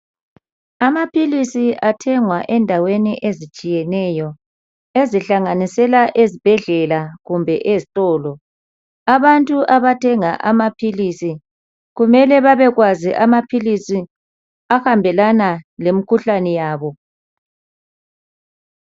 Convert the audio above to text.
Amaphilisi athengwa endaweni ezitshiyeneyo ezihlanganisela ezibhedlela kumbe ezitolo. Abantu abathenga amaphilisi kumele babekwazi amaphilisi ahambelana lemikhuhlane yabo.